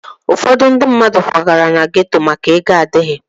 Ụfọdụ ndị mmadụ kwagara na geto maka na ego adịghị